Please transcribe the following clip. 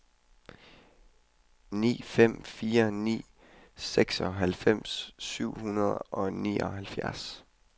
ni fem fire ni seksoghalvfems syv hundrede og nioghalvfjerds